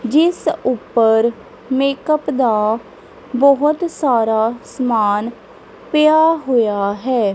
ਜਿਸ ਉਪਰ ਮੇਕਅਪ ਦਾ ਬਹੁਤ ਸਾਰਾ ਸਮਾਨ ਪਿਆ ਹੋਇਆ ਹੈ।